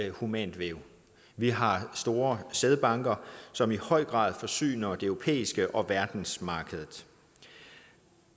humane væv vi har store sædbanker som i høj grad forsyner det europæiske marked og verdensmarkedet